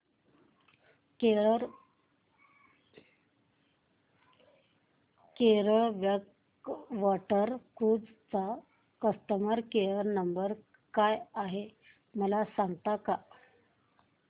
Kerala backwater cruise चा customer care number काय आहे मला सांगता का